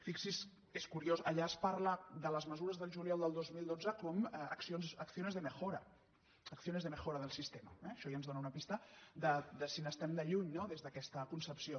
fixi s’hi és curiós allà es parla de les mesures del juliol del dos mil dotze com a acciones de mejora acciones de mejora del sistema eh això ja ens dóna una pista de si n’estem de lluny no des d’aquesta concepció